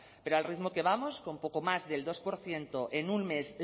pero al ritmo que vamos con poco más del dos por ciento en un mes